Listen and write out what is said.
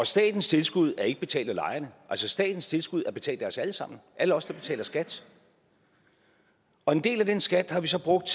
statens tilskud er ikke betalt af lejerne statens tilskud er betalt af os alle sammen alle os der betaler skat og en del af den skat har vi så brugt